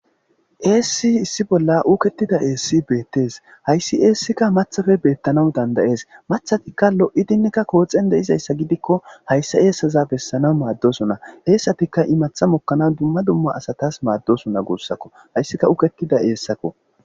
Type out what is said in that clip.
Essi issi bolla uketida esi bettes hays esikka maththappe bettanaaw dandayes maththatikka lo'idinne koththen de'izayssa gidikko hayisa esaza besanaw madosona esatikka imaththata mokanasa madessona gusakko haysikka uketida esakko